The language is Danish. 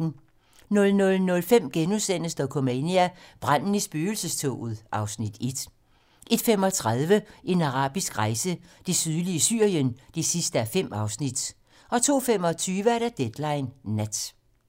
00:05: Dokumania: Branden i spøgelsestoget (Afs. 1)* 01:35: En arabisk rejse: Det sydlige Syrien (5:5) 02:25: Deadline nat